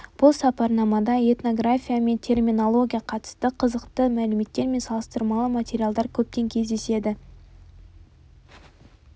бұл сапарнамада этнография мен терминологияға қатысты қызғылықты мәліметтер мен салыстырмалы материалдар көптеп кездеседі